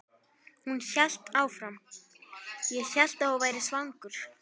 Hún hélt áfram: Ég hélt að þú værir svangur.